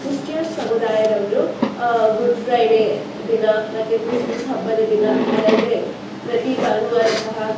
Christian ಸಮುದಾಯದವ್ರು ಆ good Friday ದಿನ ಮತ್ತೆ ಕ್ರಿಸ್ಸ್ಮಸ್ಸ್ ಹಬ್ಬದ ದಿನ ಅದಲ್ದೆ ಪ್ರತಿ ಭಾನುವಾರ ಸಹ--